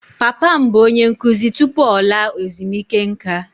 Papa m bụ onye nkụzi tupu ọ laa ezumike nká.